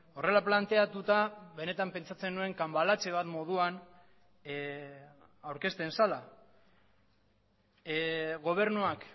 horrela planteatuta benetan pentsatzen nuen cambalache bat moduan aurkezten zela gobernuak